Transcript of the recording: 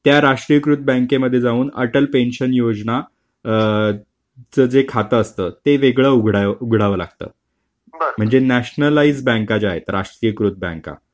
त्या राष्ट्रीयकृत बँकेमध्ये जाऊन अटल पेन्शन योजना च जे खातं असतं ते वेगळं उघडावं लागतं. म्हणजे नॅशनलाईज बँका ज्या आहेत राष्ट्रीयकृत बँका.